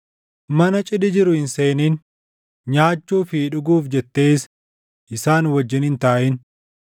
“Mana cidhi jiru hin seenin; nyaachuu fi dhuguuf jettees isaan wajjin hin taaʼin.